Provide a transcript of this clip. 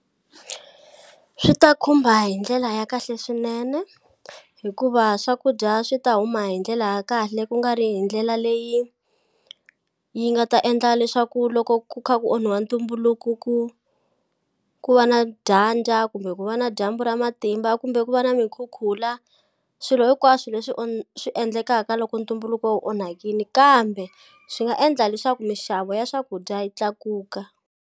Swi ta khumba hi ndlela ya kahle swinene hikuva swakudya swi ta huma hi ndlela ya kahle kungari hi ndlela leyi yi nga ta endla leswaku loko ku kha ku onhiwa ntumbuluko ku ku va na dyandza kumbe ku va na dyambu ra matimba kumbe ku va na mikhukhula swilo hinkwaswo leswi swi endlekaka loko ntumbuluko wu onhakini kambe swi nga endla leswaku mixavo ya swakudya yi tlakuka.